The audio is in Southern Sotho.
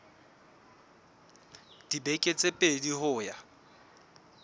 dibeke tse pedi ho ya